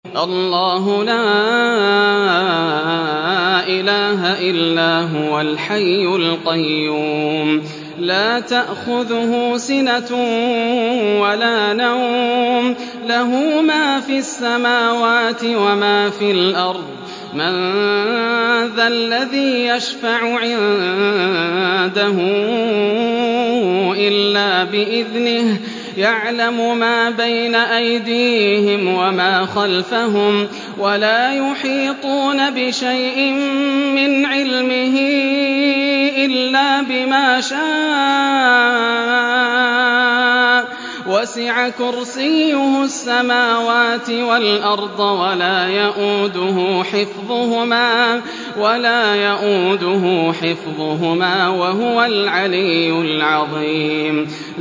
اللَّهُ لَا إِلَٰهَ إِلَّا هُوَ الْحَيُّ الْقَيُّومُ ۚ لَا تَأْخُذُهُ سِنَةٌ وَلَا نَوْمٌ ۚ لَّهُ مَا فِي السَّمَاوَاتِ وَمَا فِي الْأَرْضِ ۗ مَن ذَا الَّذِي يَشْفَعُ عِندَهُ إِلَّا بِإِذْنِهِ ۚ يَعْلَمُ مَا بَيْنَ أَيْدِيهِمْ وَمَا خَلْفَهُمْ ۖ وَلَا يُحِيطُونَ بِشَيْءٍ مِّنْ عِلْمِهِ إِلَّا بِمَا شَاءَ ۚ وَسِعَ كُرْسِيُّهُ السَّمَاوَاتِ وَالْأَرْضَ ۖ وَلَا يَئُودُهُ حِفْظُهُمَا ۚ وَهُوَ الْعَلِيُّ الْعَظِيمُ